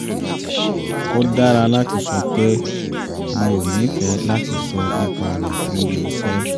ó dára láti sọ pé " mi ò ní fẹ́ láti sọ nípa rẹ̀ ní ibi-iṣẹ́